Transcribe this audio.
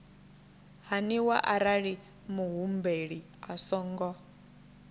haniwa arali muhumbeli a songo